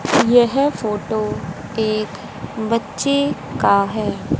यह फोटो एक बच्चे का है।